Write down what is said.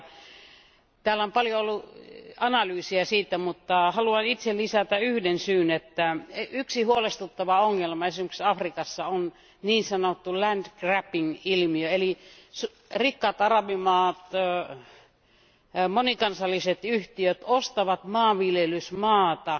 Ja täällä on paljon ollut analyysiä siitä, mutta haluan itse lisätä yhden syyn, että yksi huolestuttava ongelma esimerkiksi Afrikassa on niin sanottu land grabbing ilmiö, eli rikkaat arabimaat ja monikansalliset yhtiöt ostavat maanviljelysmaata,